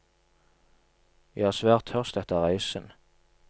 Jeg er svært tørst etter reisen.